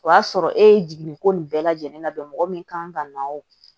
O y'a sɔrɔ e ye jiginni ko nin bɛɛ lajɛlen labɛn mɔgɔ min kan ka na o